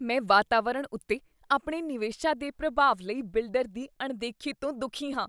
ਮੈਂ ਵਾਤਾਵਰਣ ਉੱਤੇ ਆਪਣੇ ਨਿਵੇਸ਼ਾਂ ਦੇ ਪ੍ਰਭਾਵ ਲਈ ਬਿਲਡਰ ਦੀ ਅਣਦੇਖੀ ਤੋਂ ਦੁੱਖੀ ਹਾਂ।